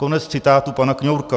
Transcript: Konec citátu pana Kňourka.